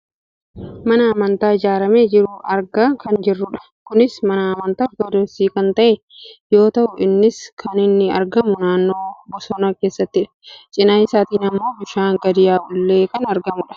mana amantaa ijaarramee jiru argaa kan jirrudha. kunis mana amantaa ortodoksiiti kan ta'e yoo ta'u innis kan inni argamu, naannoo bosona keessattidha. cinaa isaatiin ammoo bishaan gad yaa'ullee kan argamudha.